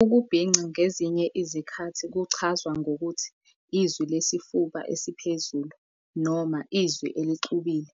Ukubhinca ngezinye izikhathi kuchazwa ngokuthi "izwi lesifuba esiphezulu" noma "izwi elixubile",